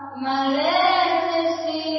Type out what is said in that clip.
शस्यशामलां मातरम्